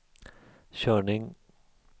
körning